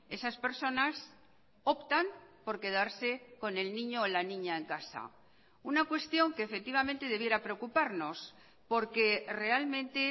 esas personas optan por quedarse con el niño o la niña en casa una cuestión que efectivamente debiera preocuparnos porque realmente